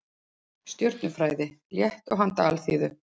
Stjörnufræði, létt og handa alþýðu.